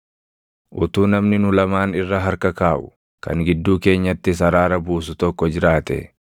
Utuu namni nu lamaan irra harka kaaʼu, kan gidduu keenyattis araara buusu tokko jiraatee,